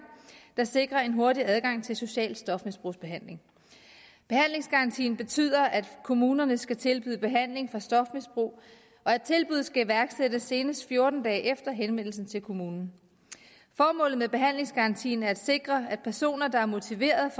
der sikrer en hurtig adgang til social stofmisbrugsbehandling behandlingsgarantien betyder at kommunerne skal tilbyde behandling for stofmisbrug og at tilbud skal iværksættes senest fjorten dage efter henvendelsen til kommunen formålet med behandlingsgarantien er at sikre at personer der er motiveret